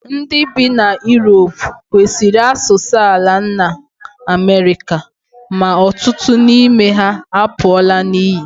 Ndị bi na Europe kwụsịrị asụsụ ala nna Amerịka, ma ọtụtụ n'ime ha apụọla n'iyi